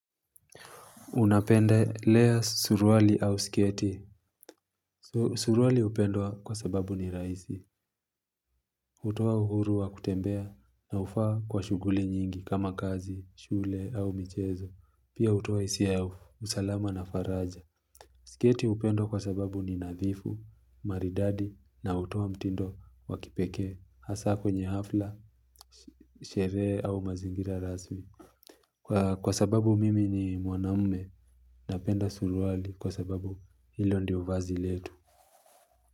Unapendelea suruali au sketi. Suruali upendwa kwa sababu ni rahisi. Utoa uhuru wa kutembea na ufaa kwa shuguli nyingi kama kazi, shule au michezo. Pia hutoa hisia, ya usalama na faraja. Sketi upendwa kwa sababu ni nadhifu, maridadi na utowa mtindo wa kipeke. Hasa kwenye hafla, sherehe au mazingira rasmi. Kwa sababu mimi ni mwanaume. Napenda suruali kwa sababu hilo ndio vazil letu.